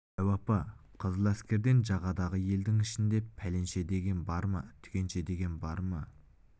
дәу апа қызыл әскерден жағадағы елдің ішінде пәленше деген бар ма түгенше деген бар ма